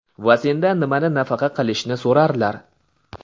Va sendan nimani nafaqa qilishni so‘rarlar.